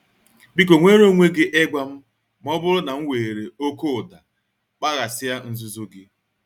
Biko nweere onwe gị ịgwa m ma ọ bụrụ na m were oke ụda kpaghasịa nzuzo gị.